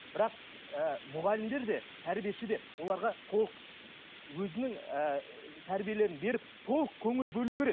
бірақ ііі мұғалімдер де тәрбиеші де оларға толық өзінің ііі тәрбиелерін беріп толық көңіл бөлу керек